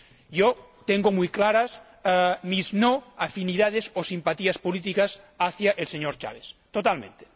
Yo tengo muy claras mis no afinidades o simpatías políticas hacia el señor Chávez. Totalmente.